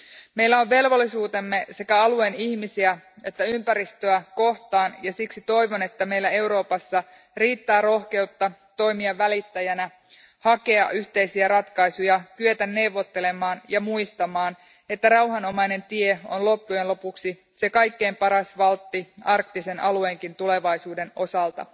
Meillä on velvollisuutemme sekä alueen ihmisiä että ympäristöä kohtaan ja siksi toivon, että meillä Euroopassa riittää rohkeutta toimia välittäjänä, hakea yhteisiä ratkaisuja, kyetä neuvottelemaan ja muistamaan, että rauhanomainen tie on loppujen lopuksi se kaikkien paras valtti myös arktisen alueen tulevaisuuden osalta.